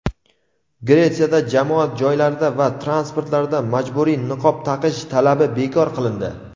Gretsiyada jamoat joylarida va transportlarda majburiy niqob taqish talabi bekor qilindi.